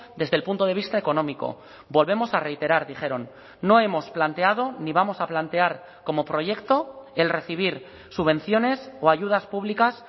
desde el punto de vista económico volvemos a reiterar dijeron no hemos planteado ni vamos a plantear como proyecto el recibir subvenciones o ayudas públicas